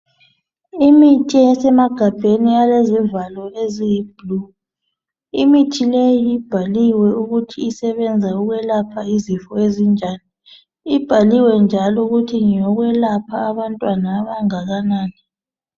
Imithi esemagabheni alezivalo eziyi blue, imithi leyi ibhaliwe ukuthi isebenza ukwelapha izifo ezinjani ibhaliwe njalo ukuthi ngeyokwelapha abantwana abangakanani.